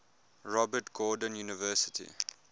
robert gordon university